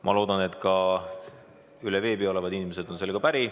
Ma loodan, et ka veebi kaudu osalevad inimesed on sellega päri.